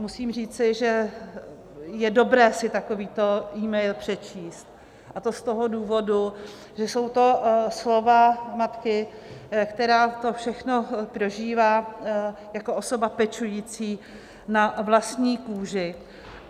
Musím říci, že je dobré si takovýto mail přečíst, a to z toho důvodu, že jsou to slova matky, která to všechno prožívá jako osoba pečující na vlastní kůži.